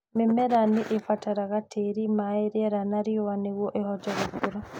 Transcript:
Mĩmera nĩ ĩbataraga tĩĩri, maĩ, rĩera na riũa nĩguo ĩhote gũkũra